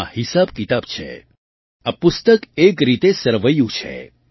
તેમાં હિસાબકિતાબ છે આ પુસ્તક એક રીતે સરવૈયું છે